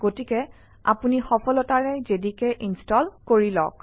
গতিকে আপুনি সফলতাৰে জেডিকে ইনষ্টল কৰিলো